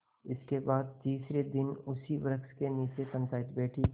इसके बाद तीसरे दिन उसी वृक्ष के नीचे पंचायत बैठी